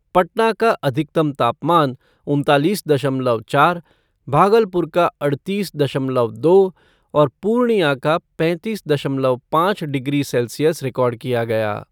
पटना का अधिकतम तापमान उनतालीस दशमलव चार, भागलपुर का अड़तीस दशमलव दो और पूर्णिया का पैंतीस दशमलव पाँच डिग्री सेल्सियस रिकॉर्ड किया गया।